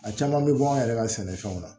A caman bɛ bɔ an yɛrɛ ka sɛnɛfɛnw na